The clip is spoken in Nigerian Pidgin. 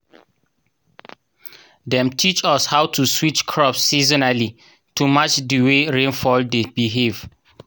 dem teach us how to switch crops seasonally to match di way rainfall dey behave.